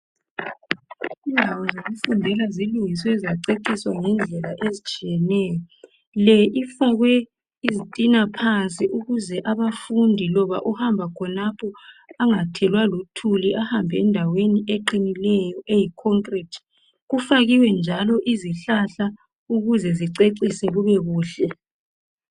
Indawo zokufundela zilungiswe zaceciswa ngendlela ezitshiyeneyo le ifakwe izitina phansi ukuze abafundi loba uhamba khonapho engathelwa luthuli ahambe endaweni eqinileyo eyikhonkirithi kufakiwe njalo izihlahla ukuzezicecise kubekuhle